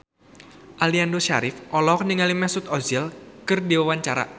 Aliando Syarif olohok ningali Mesut Ozil keur diwawancara